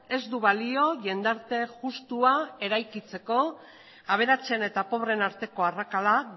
ez du balio jendarte justua eraikitzeko aberatsen eta pobreen arteko arrakala